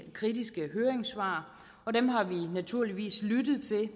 kritiske høringssvar og dem har vi naturligvis lyttet til